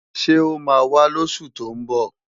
Ṣé ó máa wá lósù tó ń bọ̀?